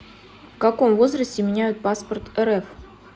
в каком возрасте меняют паспорт рф